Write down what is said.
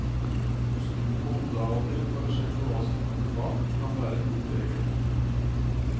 Å snu på hodet av og til for å sjekke hva som kommer bak, kan være en god regel.